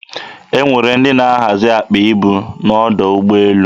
E nwere ndị na-ahazi akpa ibu n'ọdọ ụgbọelu.